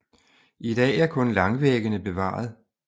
I dag er kun langvæggene bevaret